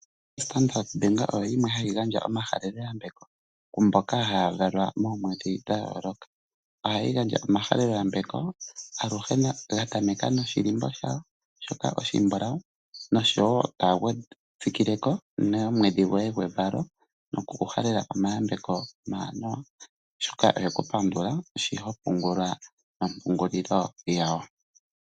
OStandard Bank oyo yimwe hayi gandja omahaleloyambeko ku mboka haya valwa moomwedhi dha yooloka. Ohayi gandja omahaleloyambeko aluhe ga tameka noshilimbo shayo shoka oshimbulawu, noshowo taya tsikileko nomwedhi goye gwevalo noku ku halela omayambeko omawanawa. Oshoka oye ku pandula shi ho pungula nompungulilo yawo.